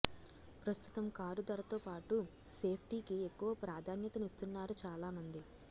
ప్రస్తుతం కారు ధరతో పాటు సేఫ్టీకీ ఎక్కువ ప్రాధాన్యతనిస్తున్నారు చాలా మంది